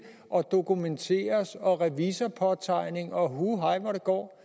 og dokumenteres og gives revisorpåtegning og hu hej hvor det går